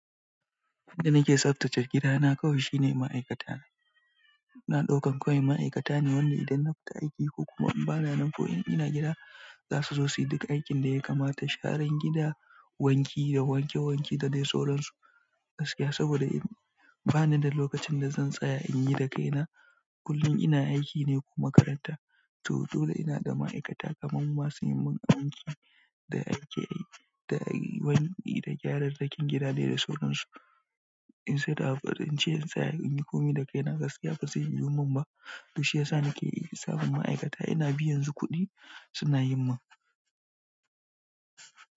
Yanda nake tsaftace gidana kawai shine ma'aikata. Ina ɗaukan kawai ma'aikata ne wanda idan na fita aiki ko kuma in bana nan ko in ina gida, za su zo su yi duk aikin da ya kamata. Sharan gida, wanki da wanke wanke da dai sauran su gaskiya saboda in ba ni da lokacin da zan tsaya in yi dakaina. Kullum ina aiki ne ko makaranta to dole ina da ma'aikata kaman masu yi min abinci da aike da wanki da gyararrakin gida dai da sauran su. In tsai da abu in ce in tsaya in yi komai dakaina gaskiya ba zai yiwu mun ba. Duk shi yasa nake samun ma'aikata ina biyan su kuɗi suna yin mun.